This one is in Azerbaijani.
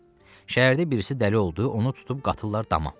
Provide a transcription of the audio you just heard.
Şəhərdə birisi dəli oldu, onu tutub qatırlar dama.